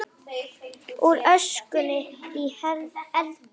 Úr öskunni í eldinn